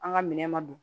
An ka minɛ ma don